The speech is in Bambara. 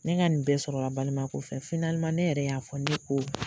Ne ka nin bɛɛ sɔrɔla balimaya ko fɛ ne yɛrɛ y'a fɔ ne ko